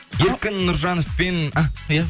еркін нұржановпен і иә